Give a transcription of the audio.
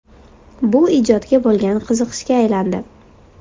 Bu ijodga bo‘lgan qiziqishga aylandi.